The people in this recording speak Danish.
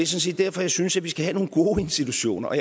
set derfor jeg synes at vi skal have nogle gode institutioner og